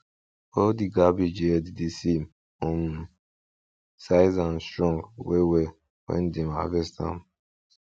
all di cabbage head dey same um size and strong well well when dem harvest am